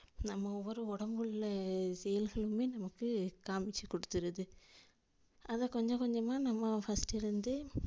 நம்ம ஒவ்வொரு உடம்புல sells மே நமக்கு காமிச்சி கொடுத்துருது அத கொஞ்சம் கொஞ்சமா நம்ம first லருந்து